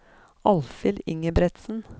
Alfhild Ingebrigtsen